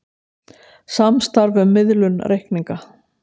Samstarf um miðlun reikninga